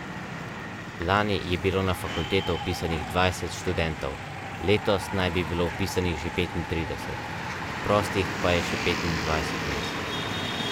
Slednja v nedeljo, Trstenjakova pa v soboto.